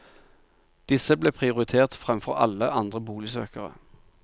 Disse ble prioritert fremfor alle andre boligsøkere.